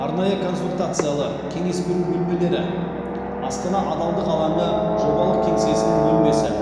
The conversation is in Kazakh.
арнайы консультациялы кеңес беру бөлмелері астана адалдық алаңы жобалық кеңсесінің бөлмесі